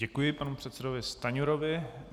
Děkuji panu předsedovi Stanjurovi.